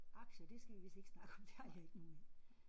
Aktier det skal vi vist ikke snakke om. Det har jeg ikke nogen af